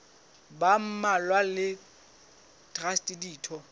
ba mmalwa le traste ditho